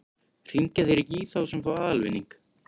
Hringja þeir ekki í þá sem fá aðalvinning?